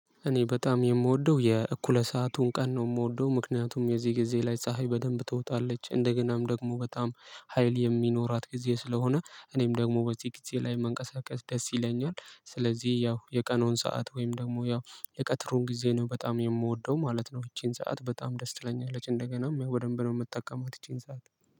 እኔ በጣም የምወደው የእኩለ ሰአቱን ቀን ነው የምወደው ምክንያቱም የዚህ ጊዜ ላይ ፀሀይ በደንብ ትወጣለች እንደገናም ደግሞ በጣም ሀይል የሚኖራት ጊዜ ስለሆነ እኔም ደግሞ በዚህ ጊዜ ላይ መንቀሳቀስ ደስ ይለኛል ስለዚህ ያው የቀኑን ሰዓት ወይም ደግሞ ያው የቀትሩን ጊዜ ነው በጣም የምወደው ማለት ነው። ይቺን ሰዓት በጣም ደስ ትለኛለች እንደገናም ያው በደንብ ነው የምትጠቀመው ይቺን ሰዓት።